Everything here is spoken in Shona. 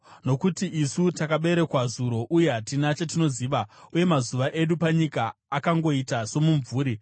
nokuti isu takaberekwa zuro uye hatina chatinoziva, uye mazuva edu panyika akangoita somumvuri.